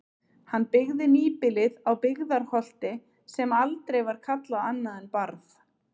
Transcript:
Hann byggði nýbýlið á Byggðarholti sem aldrei var kallað annað en Barð.